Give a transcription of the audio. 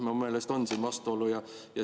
Mu meelest on siin vastuolu.